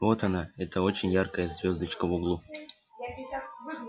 вот она эта очень яркая звёздочка в углу